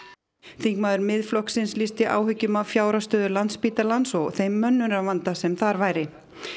þingmaður Miðflokksins lýsti áhyggjum af fjárhagsstöðu Landspítalans og þeim mönnunarvanda sem þar væri